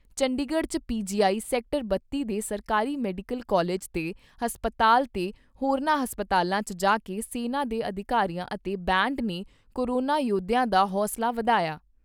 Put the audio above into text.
ਚੰਡੀਗੜ੍ਹ 'ਚ PGI, sector ਬੱਤੀ ਦੇ ਸਰਕਾਰੀ ਮੈਡੀਕਲ ਕਾਲਜ ਤੇ ਹਸਪਤਾਲ ਤੇ ਹੋਰਨਾਂ ਹਸਪਤਾਲਾਂ 'ਚ ਜਾਕੇ ਸੈਨਾ ਦੇ ਅਧਿਕਾਰੀਆਂ ਅਤੇ ਬੈਂਡ ਨੇ ਕੋਰੋਨਾ ਯੋਧਿਆਂ ਦਾ ਹੌਸਲਾ ਵਧਾਇਆ।